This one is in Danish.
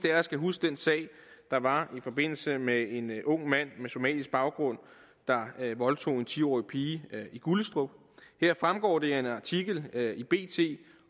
af os kan huske den sag der var i forbindelse med en ung mand med somalisk baggrund der voldtog en ti årig pige i gullestrup her fremgår det af en artikel i bt